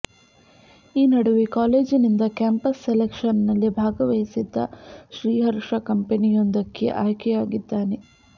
ಈ ನಡುವೆ ಕಾಲೇಜಿನಿಂದ ಕ್ಯಾಂಪಸ್ ಸೆಲೆಕ್ಷನ್ ನಲ್ಲಿ ಭಾಗವಹಿಸಿದ್ದ ಶ್ರೀಹರ್ಷ ಕಂಪನಿಯೊಂದಕ್ಕೆ ಆಯ್ಕೆಯಾಗಿದ್ದಾನೆ